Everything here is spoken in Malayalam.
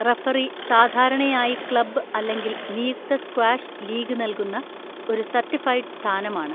റഫറി സാധാരണയായി ക്ലബ് അല്ലെങ്കിൽ നിയുക്ത സ്ക്വാഷ് ലീഗ് നൽകുന്ന ഒരു സർട്ടിഫൈഡ് സ്ഥാനമാണ്.